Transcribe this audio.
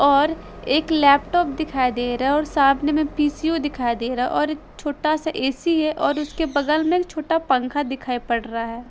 और एक लैपटॉप दिखाई दे रहा है और सामने में पी_सी_यू दिखाई दे रहा है और एक छोटा-सा ए_सी है और उसके बगल में छोटा पंखा दिखाई पड़ रहा है।